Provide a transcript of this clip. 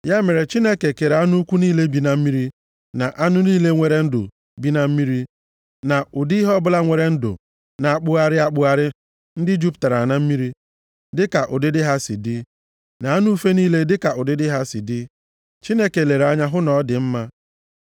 Ya mere Chineke kere anụ ukwu niile bi na mmiri, na anụ niile nwere ndụ bi na mmiri, na ụdị ihe ọbụla nwere ndụ na-akpụgharị akpụgharị ndị jupụtara na mmiri, dịka ụdịdị ha si dị, na anụ ufe niile dịka ụdịdị ha si dị. Chineke lere anya hụ na ọ dị mma.